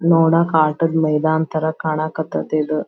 ನೋಡಕ್ ಆಟದ್ ಮೈದಾನ್ ತರ ಕಣಕ್ ಹತೈತ್ ಇದು.